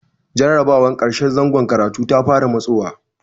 Jarrabawar ƙarshen zangon karatu ta fara matsowa.